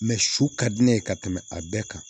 su ka di ne ye ka tɛmɛ a bɛɛ kan